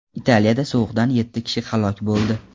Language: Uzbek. Italiyada sovuqdan yetti kishi halok bo‘ldi.